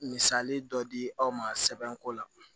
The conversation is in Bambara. Misali dɔ di aw ma sɛbɛnko la